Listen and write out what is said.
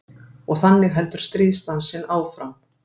Og þannig heldur stríðsdansinn áfram.